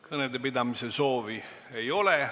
Kõnepidamise soovi ei ole.